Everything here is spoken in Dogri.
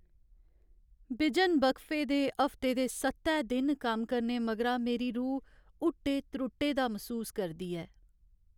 बिजन वक्फे दे हफ्ते दे सत्तै दिन कम्म करने मगरा मेरी रूह् हुट्टे त्रुट्टे दा मसूस करदी ऐ।